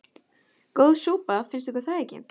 Góð súpa, finnst ykkur það ekki?